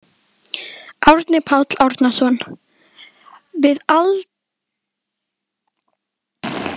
Árni Páll Árnason: Við aðildarumsókn að Evrópusambandinu?